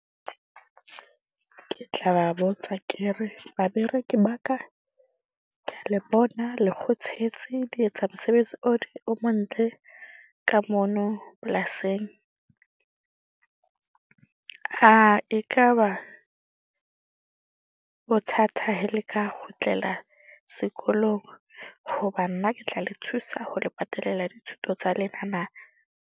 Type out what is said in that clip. Ke tla ba botsa ke re, babereki ba ka, ke a le bona le kgothetse. Le etsa mosebetsi o montle ka mono polasing. ekaba bothatha he le ka kgutlela sekolong, hoba nna ke tla le thusa ho le patelela dithuto tsa lena na?